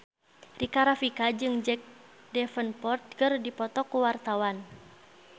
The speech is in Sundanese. Rika Rafika jeung Jack Davenport keur dipoto ku wartawan